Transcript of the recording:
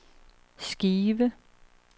skive